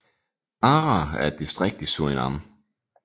Para er et distrikt i Surinam